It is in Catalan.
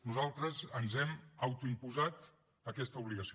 nosaltres ens hem autoimposat aquesta obligació